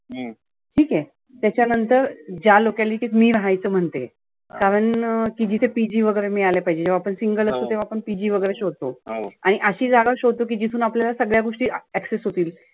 ठिक आहे. त्याच्या नंतर ज्या locality त मी रहायचं म्हणते, कारण की जिथे PG वगैरे मिळालं पाहीजे. जेव्हा आपण single वगैरे असतो तेव्हा आपण PG वगैरे शोधतो. आणि आशी जागा शोधतो की जिथून आपल्याला सगळ्या गोष्टी access होतील.